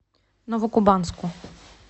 новокубанску